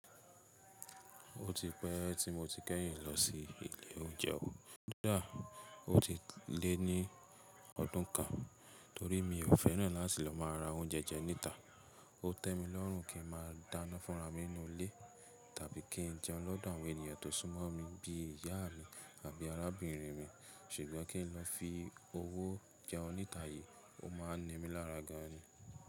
Ó ti pẹ́ tí mo ti kẹ́yìn lọ sí ilé oúnjẹ. Koda ó ti lé ní ọdún kan torí mi ò fẹ́ràn láti lọ máa ra oúnjẹ jẹ níta. Ó tẹ́ mi lọ́run kí ń máa dáná fúnra mí nínú ilé tàbí kí ń jẹun lọ́dọ̀ àwọn ènìyàn tó súnmọ́ mi bí ìyá mi àbí arábìnrin mi ṣùgbọ́n kí ń lọ fi owó jẹun níta yìí, ó máa ń ni mí lára gan ni.